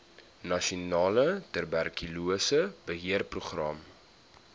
nasionale tuberkulose beheerprogram